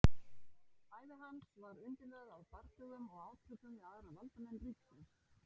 ævi hans var undirlögð af bardögum og átökum við aðra valdamenn ríkisins